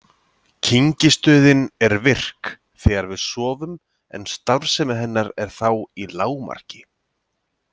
Kyngistöðin er virk þegar við sofum en starfsemi hennar er þá í lágmarki.